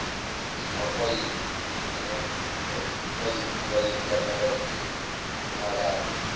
zamapayipilayini kaphalafini wamalambu